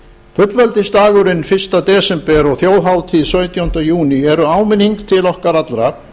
fullveldisdagurinn fyrsta desember og þjóðhátíðin sautjánda júní eru áminning til okkar allra